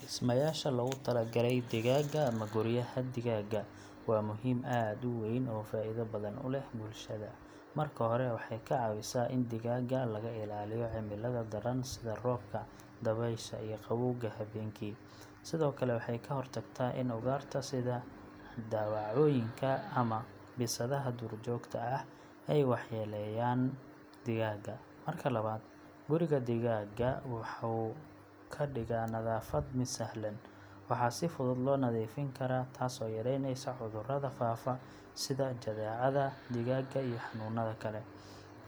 Dhismayaasha loogu talagalay digaagga, ama guryaha digaagga, waa muhiim aad u weyn oo faa’iido badan u leh bulshada. Marka hore, waxay ka caawisaa in digaagga laga ilaaliyo cimilada daran sida roobka, dabaysha iyo qabowga habeenkii. Sidoo kale, waxay ka hortagtaa in ugaarta sida dawacooyinka ama bisadaha duurjoogta ah ay waxyeeleeyaan digaagga. Marka labaad, guriga digaagga wuxuu ka dhigaa nadaafad mid sahlan. Waxaa si fudud loo nadiifin karaa, taas oo yaraynaysa cudurrada faafa sida jadeecada digaagga iyo xanuunada kale.